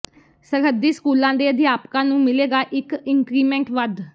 ਸਰਹੱਦੀ ਸਕੂਲਾਂ ਦੇ ਅਧਿਆਪਕਾਂ ਨੂੰ ਮਿਲੇਗਾ ਇਕ ਇੰਕਰੀਮੈਂਟ ਵੱਧ